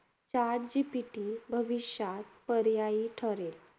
Chat GPT भविष्यात पर्यायी ठरेल.